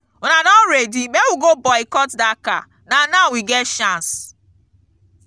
una don ready make we go boycott dat car na now we get chance.